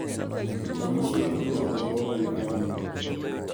Ranyisi mag tuo obwongo gin ang'o?